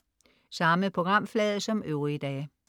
Samme programflade som øvrige dage